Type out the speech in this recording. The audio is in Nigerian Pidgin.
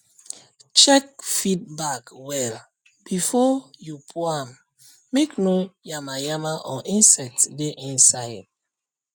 check um feed bag well before um you pour am make no yamayama or insect dey inside inside